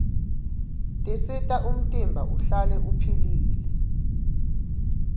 tisita umtimba uhlale upihlile